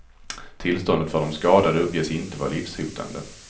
Tillståndet för de skadade uppges inte vara livshotande.